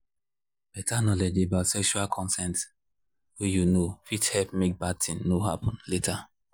better knowledge about sexual consent way you know fit help make bad thing no happen later